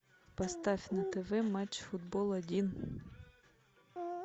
поставь на тв матч футбол один